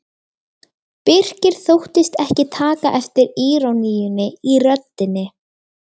Birkir þóttist ekki taka eftir íroníunni í röddinni.